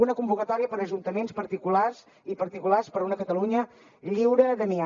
una convocatòria per a ajuntaments i particulars per una catalunya lliure d’amiant